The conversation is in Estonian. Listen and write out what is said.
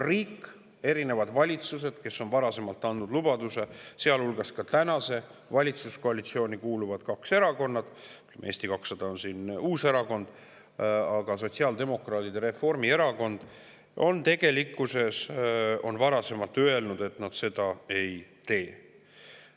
Riik, erinevad valitsused, sealhulgas kaks tänasesse valitsuskoalitsiooni kuuluvat erakonda – Eesti 200 on seal uus erakond –, sotsiaaldemokraadid ja Reformierakond, on varasemalt andnud lubaduse, et nad seda ei tee.